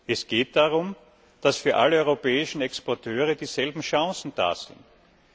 Es geht darum, dass für alle europäischen Exporteure dieselben Chancen bestehen.